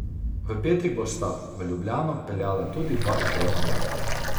V petek bosta v Ljubljano peljala tudi dva izredna vlaka.